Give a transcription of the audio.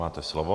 Máte slovo.